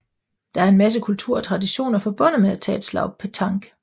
Der er en masse kultur og traditioner forbundet med at tage et slag petanque